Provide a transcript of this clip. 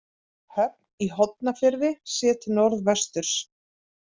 Höfn í Hornafirði séð til norðvesturs.